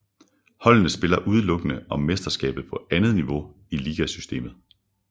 Holdene spiller udelukkende om mesterskabet på andet niveau i ligasystemet